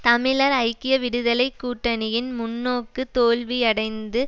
தமிழர் ஐக்கிய விடுதலை கூட்டணியின் முன்நோக்கு தோல்வியடைந்து